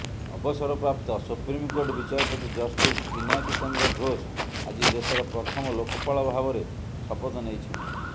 ଅବସରପ୍ରାପ୍ତ ସୁପ୍ରିମ୍କୋର୍ଟ ବିଚାରପତି ଜଷ୍ଟିସ୍ ପିନାକୀ ଚନ୍ଦ୍ର ଘୋଷ ଆଜି ଦେଶର ପ୍ରଥମ ଲୋକପାଳ ଭାବରେ ଶପଥ ନେଇଛନ୍ତି